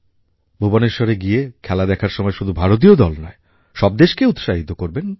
ভুবনেশ্বরে গিয়ে খেলা দেখার সময় শুধু ভারতীয় দল নয় সব দেশকেই উৎসাহিত করবেন